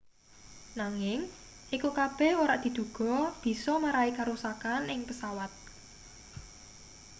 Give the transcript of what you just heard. nanging iku kabeh ora diduga bisa marai karusakan ing pesawat